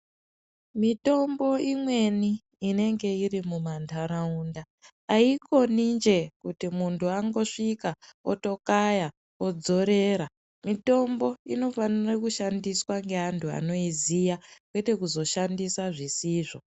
Mitombo imweni inenge iri mumantaraunda aikoninje kuti muntu wangosvika otokaya odzorera mutombo inofanire Kushandiswa ngeantu anoiziya kwete kuzoshandisa zvisizvo.